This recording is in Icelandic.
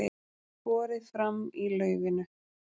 Borið fram í laufinu